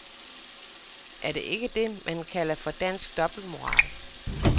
Er det ikke det, man kan kalder for dansk dobbeltmoral.